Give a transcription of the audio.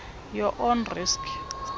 your own risk